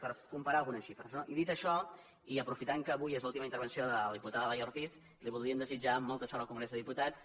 per comparar algunes xifres no i dit això i aprofitant que avui és l’última interven·ció de la diputada laia ortiz li voldríem desitjar mol·ta sort al congrés dels diputats